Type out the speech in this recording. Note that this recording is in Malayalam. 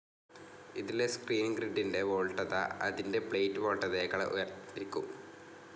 ഇതിലെ സ്ക്രീൻ ഗ്രിഡ്ഡിന്റെ വോൾട്ടേജ്‌ അതിന്റെ പ്ലേറ്റ്‌ വോൾട്ടതയെക്കാൾ ഉയർന്നിരിക്കും.